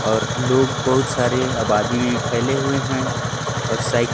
और लोग बहुत सारे आबादी में फैले हुए हैं और साइकिल --